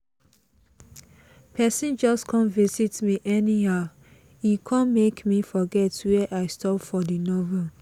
person just come visit me anyhow e come make me forget where i stop for the novel